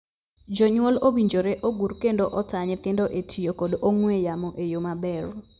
Jonyuol owinjore ogur kendo otaa nyithindo e tiyo kod ong'we yamo e yoo maber.